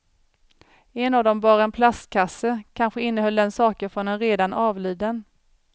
En av dem bar en plastkasse, kanske innehöll den saker från en redan avliden.